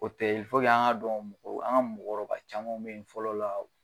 O tɛ yen an ka dɔn an ga mɔkɔrɔba caman be yen nɔ fɔlɔ la